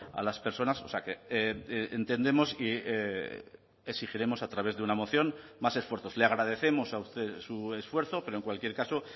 a las personas o sea que entendemos y exigiremos a través de una moción más esfuerzos le agradecemos a usted su esfuerzo pero en cualquier caso